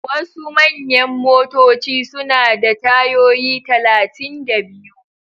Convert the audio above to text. Wasu manyan motoci suna da tayoyi talatin da biyu.